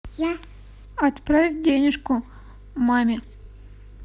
отправь денежку маме